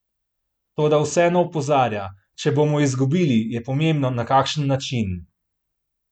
Toda vseeno opozarja: 'Če bomo izgubili, je pomembno, na kakšen način.